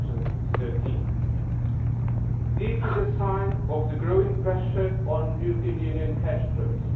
2013. This is a sign of the growing pressure on European Union cash flows.